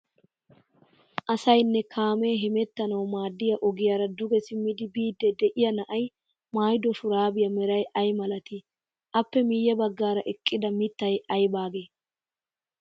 Asaynne kaamee hemmettanawu maaddiya ogiyaara duge simmiidi biidi deiya na'ay maayddo shuraabiya meray ay malatii? Appe miyye baggaara eqqida miittay aybaagee?